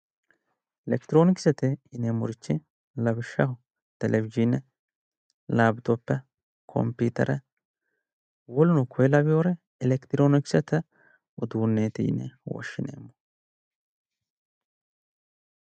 Elekitiroonikisete yineemmorichi lawishsha televizhiine laapitope kompiitere raadoone wokeno kuri laweyooricho elekitiroonisete uduunneeti yine wishshineemmo